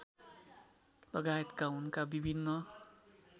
लगायतका उनका विभिन्न